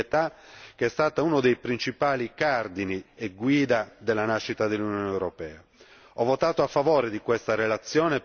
Questo perché risponde a quell'esigenza di solidarietà che è stata uno dei principali cardini e guida della nascita dell'Unione europea.